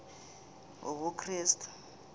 wobukrestu